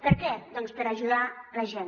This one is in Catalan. per què doncs per ajudar la gent